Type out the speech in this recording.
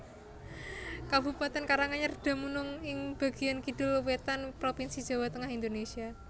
Kabupatèn Karanganyar dumunung ing bagéyan kidul wétan Propinsi Jawa Tengah Indonésia